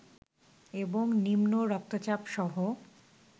এবং নিম্ন রক্তচাপসহ